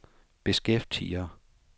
beskæftiger